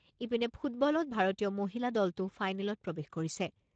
ইপিনে ফুটবলত ভাৰতীয় মহিলা দলটো ফাইনেলত প্ৰৱেশ কৰিছে।